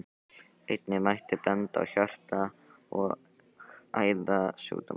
Einnig mætti benda á hjarta- og æðasjúkdóma.